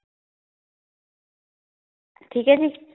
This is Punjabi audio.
ਠੀਕ ਏ ਜੀ